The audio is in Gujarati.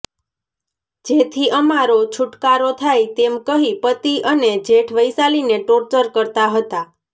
જેથી અમારો છુટકારો થાય તેમ કહી પતિ અને જેઠ વૈશાલીને ટોર્ચર કરતા હતા